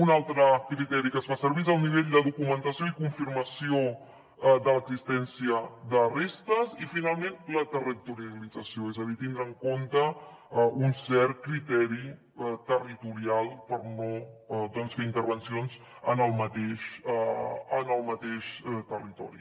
un altre criteri que es fa servir és el nivell de documentació i confirmació de l’existència de restes i finalment la territorialització és a dir tindre en compte un cert criteri territorial per no fer intervencions en el mateix territori